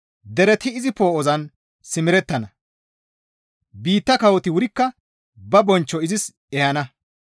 Dereti izi poo7ozan simerettana; biitta kawoti wurikka ba bonchcho izis ehana.